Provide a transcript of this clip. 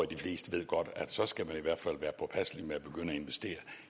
de fleste godt at så skal man i hvert fald være påpasselig med at begynde at investere